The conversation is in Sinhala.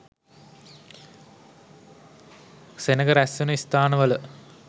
සෙනඟ රැස්වෙන ස්ථානවල